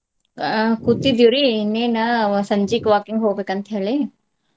ಆಹ್ ಕೂತಿದ್ದುರಿ ಇನ್ನೆನ ಸಂಜೀಕ್ walking ಹೋಗ್ಬೇಕ್ ಅಂತ್ ಹೇಳಿ.